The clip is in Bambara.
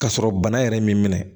K'a sɔrɔ bana yɛrɛ m'i minɛ